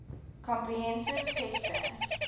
comprehensive test ban